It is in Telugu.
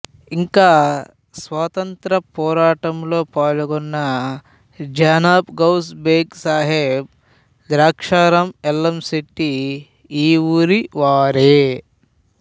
ఇంకా స్వాతంత్ర్యపోరాటంలో పాల్గొన్న జనాబ్ గౌస్ బేగ్ సాహెబ్ ద్రాక్షారం యల్లంశెట్టి ఈ ఊరివారే